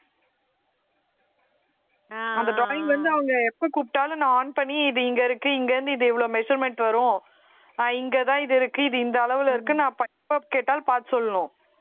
ஆஹ் அந்த drawing வந்து அவங்க எப்ப கூப்பிட்டாலும் நான் on பண்ணி இருக்கு இங்கிருந்து இது இவ்வளவு measurement வரும் ஆஹ் இங்கதான் இது இருக்கு இது இந்த அளவுல இருக்கு நான் கேட்டால் பார்த்து சொல்லணும்